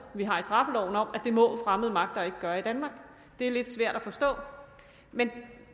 vi har i straffeloven om at det må fremmede magter ikke gøre i danmark det er lidt svært at forstå men